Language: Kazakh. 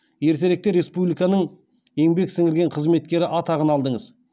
ертеректе республиканың еңбек сіңірген қызметкері атағын алдыңыз